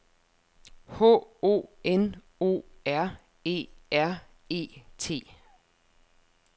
H O N O R E R E T